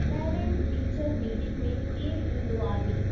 Parent teacher meeting में केरु ईदो आहे?